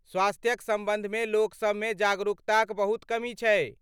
स्वास्थ्यक सम्बन्धमे लोकसभमे जागरूकताक बहुत कमी छै।